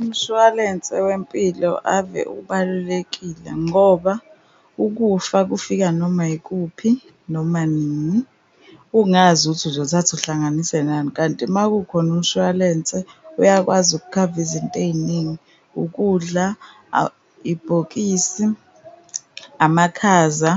Umshwalense wempilo ave ubalulekile ngoba ukufa kufika noma yikuphi noma nini, ungazi ukuthi uzothatha uhlanganise nani, kanti uma kukhona umshwalense uyakwazi ukukhava izinto ey'ningi, ukudla, ibhokisi, amakhaza.